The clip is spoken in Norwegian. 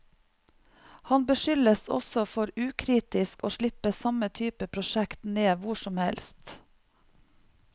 Han beskyldes også for ukritisk å slippe samme type prosjekt ned hvor som helst.